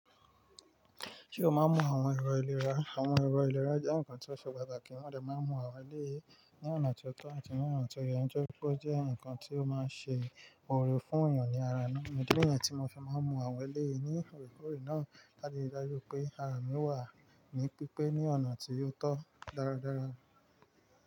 Ṣé o máa ń mú àwọn ẹ̀rọ ìlera? Àwọn ẹ̀rọ ìlera jẹ́ nǹkan tí ó ṣe pàtàkì, wọ́n lè máa mú àwọn eléyè ní ọ̀nà tó tọ́ àti ní ọ̀nà tó yẹ. Jọ́ gbọ́ jẹ́ nǹkan tí ó máa ń ṣe òrò fún èèyàn ní ara náà. Ǹjẹ́ gbogbo ẹ̀yàn tí mo fi máa ń mú àwọn eléyè ní ìròyìn náà láti dájú pé ara mi wà ní pípé ní ọ̀nà tí ó tọ́ dáradára.